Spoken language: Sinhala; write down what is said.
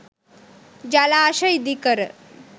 ජලාශ ඉදිකර